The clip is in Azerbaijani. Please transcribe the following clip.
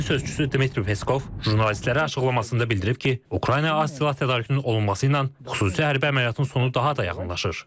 Kremlın sözçüsü Dmitri Peskov jurnalistlərə açıqlamasında bildirib ki, Ukrayna az silah tədarükünün olunmasıyla xüsusi hərbi əməliyyatın sonu daha da yaxınlaşır.